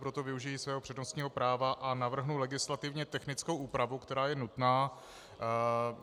Proto využiji svého přednostního práva a navrhnu legislativně technickou úpravu, která je nutná.